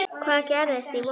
Hvað gerist í vor?